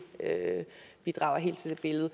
bidrager helt til det billede